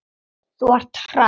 Þú ert hress!